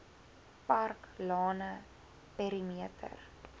park lane perimeter